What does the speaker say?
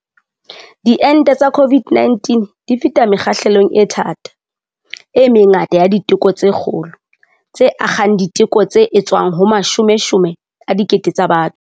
Diente tsa COVID-19 di feta mekgahlelong e thata, e mengata ya diteko tse kgolo, tse akgang diteko tse etswang ho mashomeshome a dikete tsa batho.